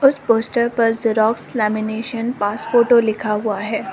उस पोस्टर पर xerox lamination pass photo लिखा हुआ है।